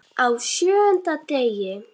Á SJÖUNDA DEGI